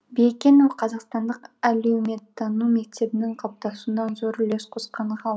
биекенов қазақстандық әлеуметтану мектебінің қалыптасуына зор үлес қосқан ғалым